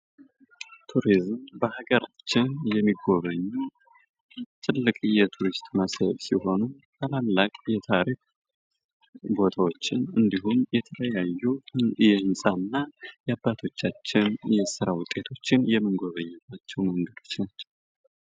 ቱሪዝም በሀገራችን የሚጎበኙ ትልቅ ቱሪስት መስህብ ታሪክ ቦታዎች ያባቶቻችን የስራ ውጤቶችን የምንጎብኝባቸው አይነቶች ናቸው።